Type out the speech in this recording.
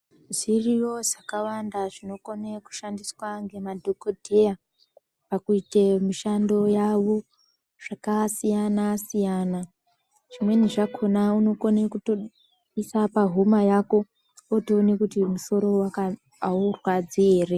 Ziriyo zakawanda zvinokone kushandiswa ngemadhokodheya pakuite mishando yavo , zvakasiyana siyana zvine zvakona unokone kutopisa pahuma Yako otoone kuti musoro uyu aurwadzi ere.